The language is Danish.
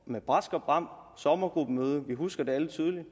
med brask og bram på sommergruppemøde det husker vi alle tydeligt